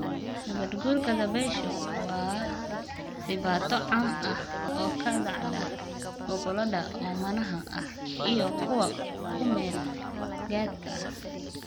Nabaad-guurka dabayshu waa dhibaato caam ah oo ka dhacda gobollada oomanaha ah iyo kuwa ku-meel-gaadhka ah.